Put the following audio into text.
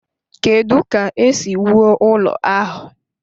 Kedu ka esi wuo ụlọ ahụ?